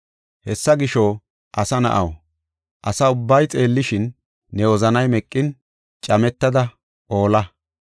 “Hessa gisho, asa na7aw, asa ubbay xeellishin, ne wozanay meqin, cametada olla.